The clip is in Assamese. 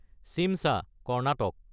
শিমশা (কৰ্ণাটক)